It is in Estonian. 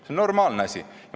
See on normaalne asi.